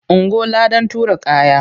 Ungo! ladan tura kaya.